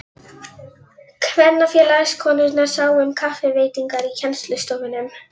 Kvenfélagskonurnar sáu um kaffiveitingar í kennslustofunum.